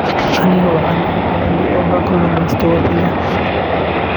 anigu waxaan ahaa beeraley oo wabiga ayaan ka kalluumaystay.